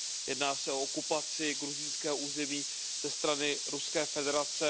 Jedná se o okupaci gruzínského území ze strany Ruské federace.